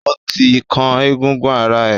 O ti kan egungun ara ẹ!